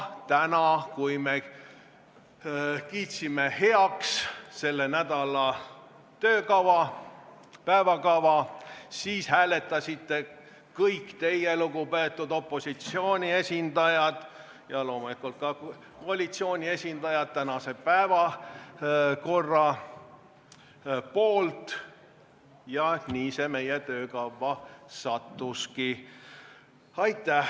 Täna, kui me kiitsime heaks selle nädala töökava, päevakorra, siis hääletasite kõik teie, lugupeetud opositsiooni esindajad ja loomulikult ka koalitsiooni esindajad, päevakorra poolt ja nii see meie töökavva sattuski.